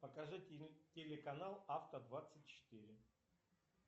покажи телеканал авто двадцать четыре